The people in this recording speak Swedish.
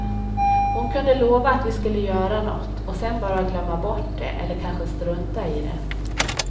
Hon kunde lova att vi skulle göra nåt och sen bara glömma bort det eller kanske strunta i det.